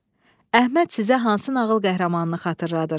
Əhməd sizə hansı nağıl qəhrəmanını xatırladır?